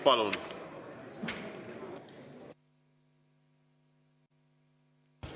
Palun!